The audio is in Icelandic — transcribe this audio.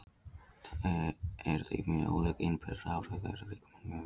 Þau eru því mjög ólík innbyrðis og áhrif þeirra á líkamann mjög mismunandi.